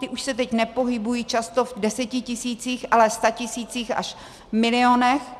Ty už se teď nepohybují často v desetitisících, ale statisících až milionech.